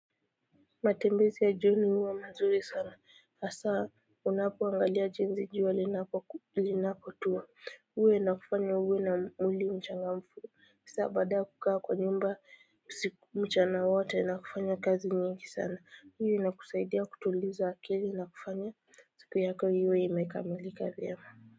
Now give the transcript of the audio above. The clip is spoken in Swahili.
Matembezi ya jioni huwa mazuri sana, hasa unapoangalia jinsi jua linako tuwa, uwe ina kufanya uwe na mwili mchangamfu. Hasa baada kukaa kwa nyumba mchana wote na kufanya kazi nyingi sana, hii ina kusaidia kutuliza akili na kufanya, siku yako iwe ime kamilika vyema.